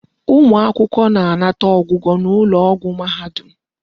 Ụmụ akwụkwọ na-anata ọgwụgwọ n'ụlọ ọgwụ mahadum.